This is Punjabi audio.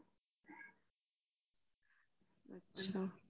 ਅੱਛਾ